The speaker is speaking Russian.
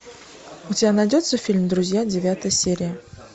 у тебя найдется фильм друзья девятая серия